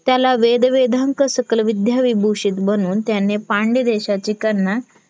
त्याला वेदवेधांक सकल विध्या विभूषित बनून त्याने पांड देशाची कन्या